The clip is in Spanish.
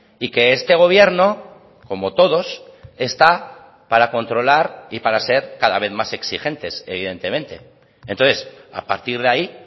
y que este gobierno como todos está para controlar y para ser cada vez más exigentes evidentemente entonces a partir de ahí